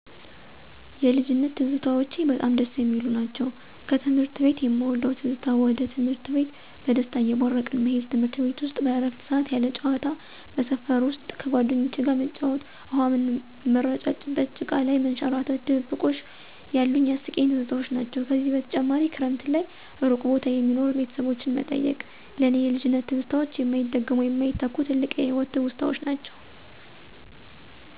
የልጅነት ትዝታዎቼ በጣም ደስ የሚሉ ናቸው። ከትምህርት ቤት የምወደው ትዝታ ወደ ትምህርት ቤት በደስታ እየቦረቅን መሄድ፤ ትምርት ቤት ውስጥ በእረፍት ሰዓት ያለ ጨዋታ። በሰፈር ውስጥ ከጓደኞቼ ጋር መጫወት፣ ውሃ ምረጫጨት፣ ጭቃ ላይ መንሸራረት፣ ድብብቆሽ ያሉኝ አስቂኝ ትዝታዎች ናቸው። ከዚህ በተጨማሪ ክረምት ላይ እሩቅ ቦታ የሚኖሩ ቤተሰቦችን መጠየቅ። ለእኔ የልጅነት ትዝታዎች የማይደገሙ፣ የማይተኩ፣ ትልቅ የህይወት ትውስታዎች ናቸው።